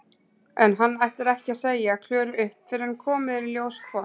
En hann ætlar ekki að segja Klöru upp fyrr en komið er í ljós hvort